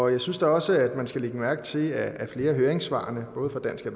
jeg synes da også at man skal lægge mærke til at flere af høringssvarene både fra dansk